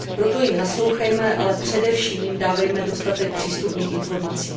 Proto jim naslouchejme, ale především jim dávejme dostatek přístupných informací.